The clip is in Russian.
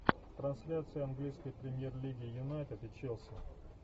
трансляция английской премьер лиги юнайтед и челси